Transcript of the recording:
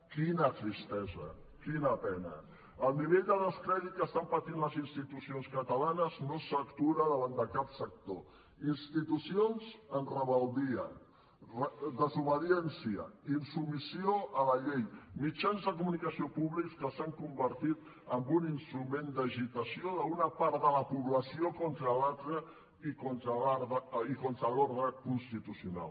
quina tristesa quina pena el nivell de descrèdit que estan patint les institucions catalanes no s’atura davant de cap sector institucions en rebel·lia desobediència insubmissió a la llei mitjans de comunicació públics que els han convertit en un instrument d’agitació d’una part de la població contra l’altra i contra l’ordre constitucional